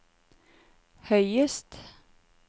høyest